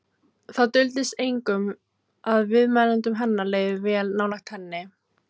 Það duldist engum að viðmælendum hennar leið vel nálægt henni.